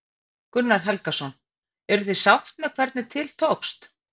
Gunnar Helgason: Eruð þið sátt með hvernig til tókst?